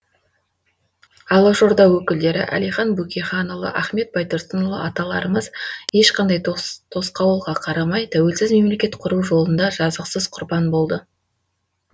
алашорда өкілдері әлихан бөкейханұлы ахмет байтұрсынұлы аталарымыз ешқандай тосқауылға қарамай тәуелсіз мемлекет құру жолында жазықсыз құрбан болды